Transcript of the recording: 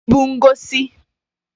ibu ngosi